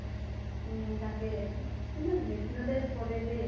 উম তাকে । কিন্তু hypnotize কৰে দেই